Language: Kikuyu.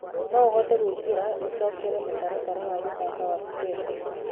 no ũhote gũĩkïra icokere mũtaratara wa guthaka wa vipengee